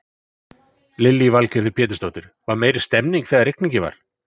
Lillý Valgerður Pétursdóttir: Var meiri stemmning þegar rigningin var?